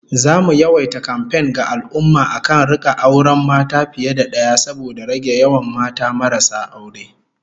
Zamu yawaita kamfen ga al'ummah akan rika auren mata fiye da daya saboda rage yawan mata marasa aure